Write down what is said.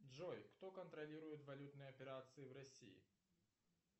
джой кто контролирует валютные операции в россии